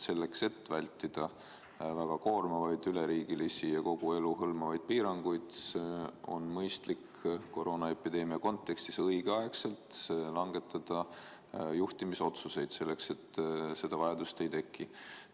Selleks, et vältida väga koormavaid üleriigilisi ja kogu elu hõlmavaid piiranguid, on mõistlik koroonaepideemia kontekstis õigeaegselt langetada juhtimisotsuseid, nii et seda vajadust ei teki.